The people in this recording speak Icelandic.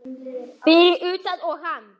Fyrir utan hann og